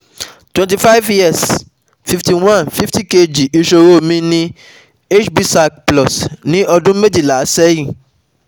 twenty five years fifty one one fifty kg ìṣòro mi ni hbsag plus ní ọdún méjìlá sẹ́yìn